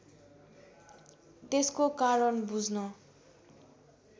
त्यसको कारण बुझ्न